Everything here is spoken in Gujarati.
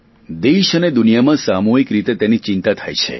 દેશ અને દુનિયામાં સામૂહિક રીતે તેની ચિંતા થાય છે